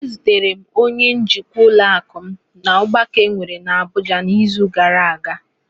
Ezutere m onye njikwa ụlọakụ m n'ọgbakọ enwere n'Abụja n'izu gara aga.